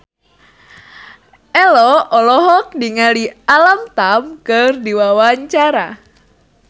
Ello olohok ningali Alam Tam keur diwawancara